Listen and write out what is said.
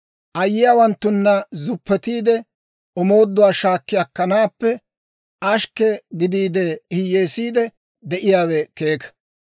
Ayyiyaawanttuna zuppetiide, omooduwaa shaakki akkanaappe ashkke gidiide, hiyyeesiide de'iyaawe keeka.